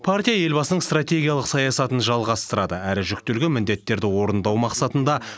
партия елбасының стратегиялық саясатын жалғастырады әрі жүктелген міндеттерді орындау мақсатында